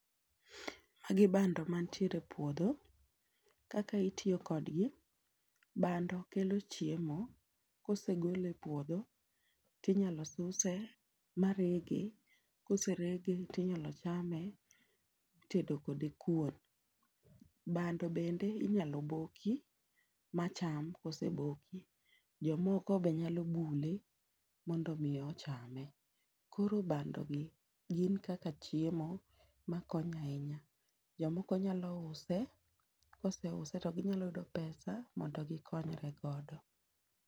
Magi bando mantiere e puodho, kaka itiyo kodgi, bando kelo chiemo. Kosegole e puodho tinyalo suse ma rege, koserege tinyalo chame itedo kode kuon. Bando bende inyalo boki ma cham kose boki. Jomoko be nyalo bule, mondo mi ochame. Koro bando gi gin kaka chiemo ma konyo ahinya. Jomoko nyalo use, kose use to ginyalo yudo pesa mondo gikonyre godo.